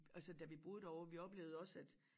Og så da vi boede derovre vi oplevede også at